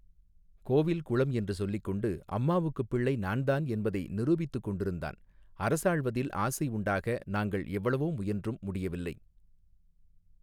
கோவில் குளம் என்று சொல்லிக் கொண்டு அம்மாவுக்குப் பிள்ளை நான் தான் என்பதை நிரூபித்துக் கொண்டிருந்தான் அரசாள்வதில் ஆசை உண்டாக நாங்கள் எவ்வளவோ முயன்றும் முடியவில்லை.